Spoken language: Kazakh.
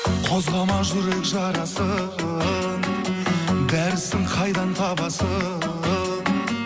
қозғама жүрек жарасын дәрісін қайдан табасын